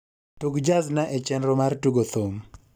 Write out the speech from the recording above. tug jazna e chenro mar tugo thum